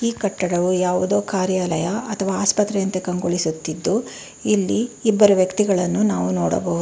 ಕಟ್ಟಡವು ಯಾವುದೊ ಕಾರ್ಯಾಲಯ ಅಥವಾ ಆಸ್ಪತ್ರೆ ಅಂತೇ ಕಂಗೊಳಿಸುತ್ತಿದ್ದು ಇಲ್ಲಿ ಇಬ್ಬರು ವ್ಯಕ್ತಿಗಳನ್ನು ನಾವು ನೊಡಬಹು--